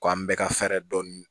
Ko an bɛɛ ka fɛɛrɛ dɔɔnin